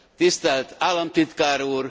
Tisztelt Államtitkár Úr!